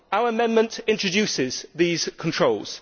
Our amendment introduces these controls.